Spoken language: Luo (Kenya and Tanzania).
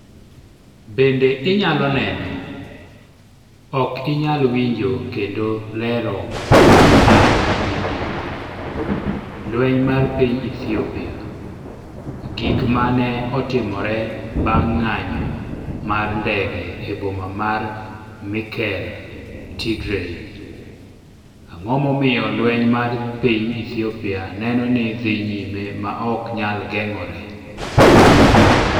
Bende inyalo neno: Ok inyal winjo kendo Lero mar vidio, Lweny mar piny Ethiopia: Gik ma ne otimore bang’ ng’anjo mar ndege e boma mar Mekelle, Tigray Ang’o momiyo lweny mar piny Ethiopia neno ni dhi nyime ma ok nyal geng’ore?